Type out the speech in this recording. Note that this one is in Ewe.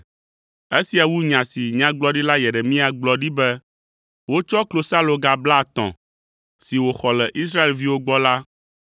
Esia wu nya si Nyagblɔɖila Yeremia gblɔ ɖi be, “Wotsɔ klosaloga blaetɔ̃ si wòxɔ le Israelviwo gbɔ la